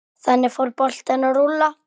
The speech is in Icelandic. Þannig fór boltinn að rúlla.